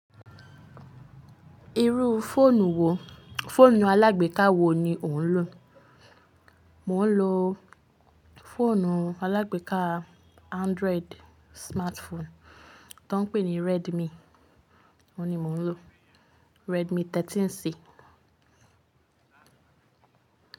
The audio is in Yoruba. Irú fóònù wo, fóònù alágbèká wo ni ò ń lò? Mo ń lò fóònù alágbèká Android smartphone to ń pè ní Redmi, òun ni mo ń lò, Redmi 13C.